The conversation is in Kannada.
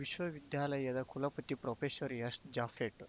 ವಿಶ್ವವಿದ್ಯಾಲಯದ ಕುಲಪತಿ ಪ್ರೊಫೆಸರ್ಎಸ್‌ಜಾಫೆಟ್‌